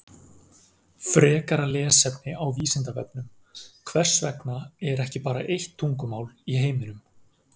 Frekara lesefni á Vísindavefnum Hvers vegna er ekki bara eitt tungumál í heiminum?